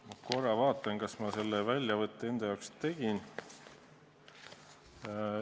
Ma korra vaatan, kas ma selle väljavõtte enda jaoks tegin.